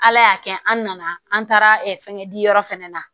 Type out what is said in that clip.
Ala y'a kɛ an nana an taara fɛnkɛ yɔrɔ fɛnɛ na